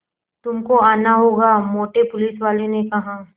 तुमको आना होगा मोटे पुलिसवाले ने कहा